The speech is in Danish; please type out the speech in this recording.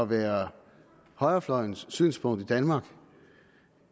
være højrefløjens synspunkt i danmark